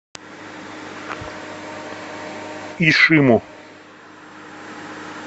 ишиму